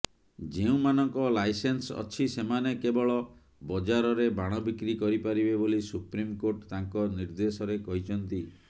ଯେଉଁମାନଙ୍କ ଲାଇସେନ୍ସ ଅଛି ସେମାନେ କେବଳ ବଜାରରେ ବାଣ ବିକ୍ରି କରିପାରିବେ ବୋଲି ସୁପ୍ରିମକୋର୍ଟ ତାଙ୍କ ନିଦେ୍ର୍ଦଶରେ କହିଛନ୍ତି